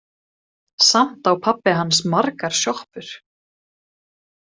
Samt á pabbi hans margar sjoppur.